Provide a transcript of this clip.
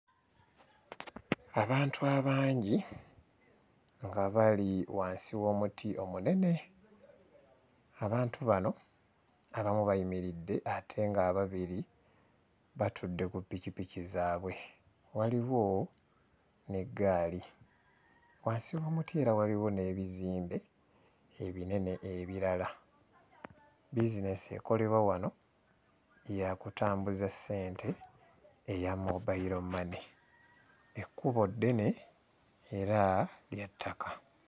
Abantu abangi nga bali wansi w'omuti omunene. Abantu bano abamu bayimiridde ate ng'ababiri batudde ku ppikippiki zaabwe, waliwo n'eggaali. Wansi w'omuti era waliwo n'ebizimbe ebinene ebirala. Bizineesi ekolerwa wano ya kutambuza ssente eya mobile money. Ekkubo ddene era lya ttaka.